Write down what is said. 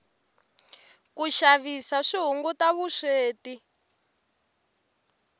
ku xavisa swi hunguta vusweti